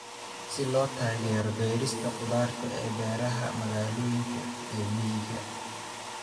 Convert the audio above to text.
Si loo taageero beerista khudaarta ee beeraha magaalooyinka iyo miyiga.